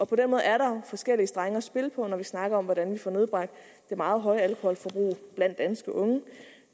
på den måde er der forskellige strenge at spille på når vi snakker om hvordan vi får nedbragt det meget høje alkoholforbrug blandt danske unge